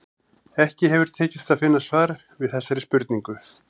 Ekki hefur tekist að finna svar við þessari spurningu.